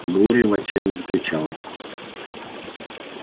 глория в отчаянии закричала